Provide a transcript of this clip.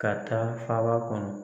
Ka taa faaba kɔnɔ.